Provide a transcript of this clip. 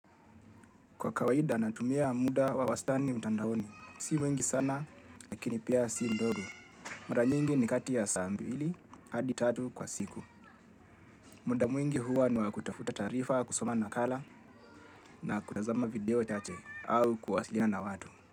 Kwa kawaida natumia muda wa wastani mtandaoni. Si mwingi sana, lakini pia si mdogo. Mara nyingi ni kati ya saa mbili, hadi tatu kwa siku. Muda mwingi huwa niwa kutafuta taarifa, kusoma nakala, na kutazama video chache, au kuwasilina na watu.